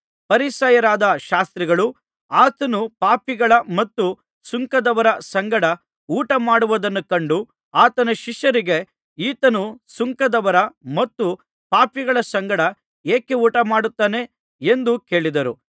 ಫರಿಸಾಯರಾದ ಶಾಸ್ತ್ರಿಗಳು ಆತನು ಪಾಪಿಗಳ ಮತ್ತು ಸುಂಕದವರ ಸಂಗಡ ಊಟ ಮಾಡುವುದನ್ನು ಕಂಡು ಆತನ ಶಿಷ್ಯರಿಗೆ ಈತನು ಸುಂಕದವರ ಮತ್ತು ಪಾಪಿಗಳ ಸಂಗಡ ಏಕೆ ಊಟಮಾಡುತ್ತಾನೆ ಎಂದು ಕೇಳಿದರು